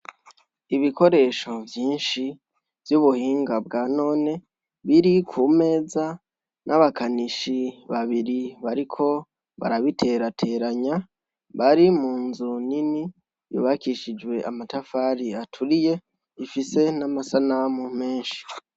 Ibikoresho vyinshi vy'ubuhinga bwa none biri ku meza n'abakanishi babiri bariko barabiterateranya bari mu nzu nini yubakishijwe amatafari aturiye ifise n'amasanamu menshi.